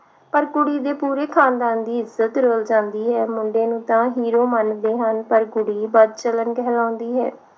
ਪਰ ਕੁੜੀ ਦੇ ਪੂਰੇ ਖਾਨਦਾਨ ਦੀ ਇੱਜਤ ਰੁਲ ਜਾਂਦੀ ਐ ਮੁੰਡੇ ਨੂੰ ਤਾਂ hero ਮੰਨਦੇ ਹਨ ਪਰ ਕੁੜੀ ਬਦਚਲਨ ਕਹਲਾਉਦੀ ਹੈ